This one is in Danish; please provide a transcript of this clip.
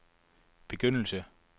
begyndelse